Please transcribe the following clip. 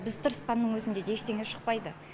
біз тырысқанның өзінде де ештеңе шықпайды